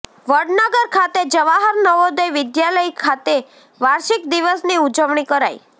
વડનગર ખાતે જવાહર નવોદય વિદ્યાલય ખાતે વાર્ષિક દિવસની ઉજવણી કરાઇ